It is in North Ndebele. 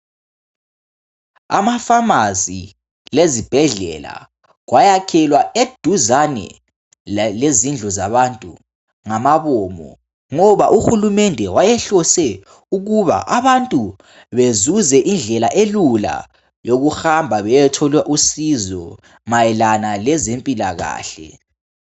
Amafamasi lezibhedlela kwayakhelwa eduzane lezindlu zabantu ngenjongo. Uhulumende wayehlose ukuba abantu bezuze indlela elula yokuhamba bayethola usizo ngendlela elula mayelana lezempilakahle.